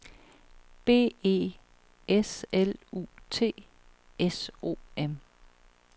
B E S L U T S O M